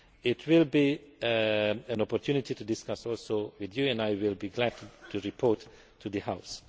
This will be an opportunity to discuss it with you as well and I will be glad to report to the House.